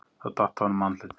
Það datt af honum andlitið.